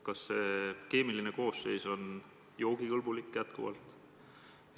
Kas vee keemiline koosseis on selline, et vesi on endiselt joogikõlblik?